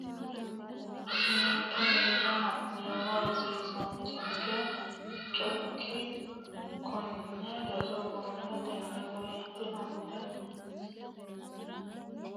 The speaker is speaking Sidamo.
Ninke minira ha nummo Rosiisaanchikki chokki konne roso gumultinanni woyite onte woroonni noota borreessitanni rosiisi ri Ninke Ninke minira ha.